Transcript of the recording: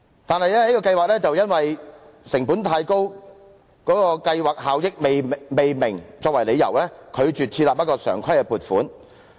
但是，這項計劃以"成本太高、計劃效益未明"為由，拒絕設立常規撥款。